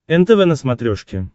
нтв на смотрешке